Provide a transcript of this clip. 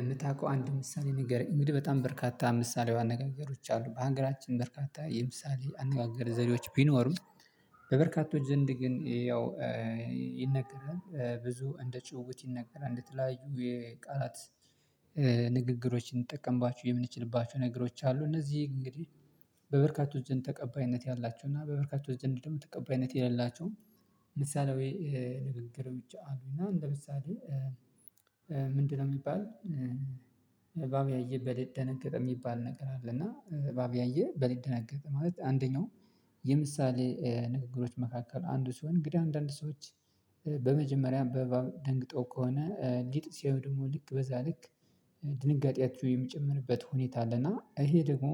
የምታውቀው አንድ ምሳሌ ንገረኝ? እንግዲህ በጣም በርካታ ምሳሌያዊ አነጋገሮች አሉ በሀገራችን በርካታ የምሳሌ አነጋገር ዘዴዎች ቢኖሩም በበርካቶች ዘንድ ግን ያው ይነገራል ብዙ እንደችውውት ይነገራል እንደተለያዩ የቃላት ንግግሮችን እንጠቀምባችሁ የምንችልባችሁ ነገሮች አሉ። እነዚህ እንግዲህ በበርካቶች ዘንድ ተቀባይነት ያላቸው እና በበርካቶች ዘንድ ደግሞ ተቀባይነት የሌላቸው ምሳሌ ወይ ንግግሮች አሉና እና እንደ ምሳሌ ምንድነው የሚባል እባብ ያየ በልጥ ደነገጠ የሚባል ነገር አለ። እና እባብ ያየ በልጥ ደነገጠ ማለት አንደኛው። የምሳሌ ንግግሮች መካከል አንዱ ስሆን እንግዲህ አንዳንድ ሰዎች በመጀመሪያ በእባብ ደንግጠው ከሆነ ሊጥ ሲሆን ደግሞ ልክ በዛ ልክ ድንጋጤያቸው የምጨምርበት ሁኔታ አለና። ይሄ ደግሞ